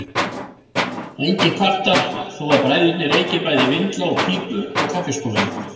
Enginn kvartar þó að bræðurnir reyki bæði vindla og pípur á kaffistofunni.